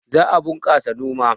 Za a bunƙasa noma